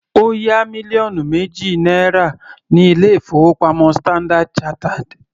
Ó yá mílíọ̀nù méjì náírà ní ilé-ìfowópamọ́ Standard chartered.